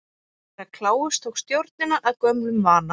Herra Kláus tók stjórnina að gömlum vana.